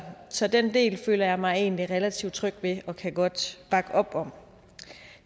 så den del føler jeg mig egentlig relativt tryg ved og kan godt bakke op om